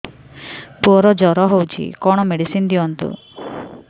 ପୁଅର ଜର ହଉଛି କଣ ମେଡିସିନ ଦିଅନ୍ତୁ